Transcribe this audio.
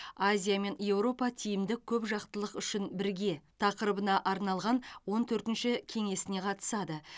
азия мен еуропа тиімді көпжақтылық үшін бірге тақырыбына арналған он төртінші кеңесіне қатысады